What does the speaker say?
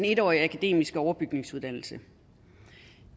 en årige akademiske overbygningsuddannelse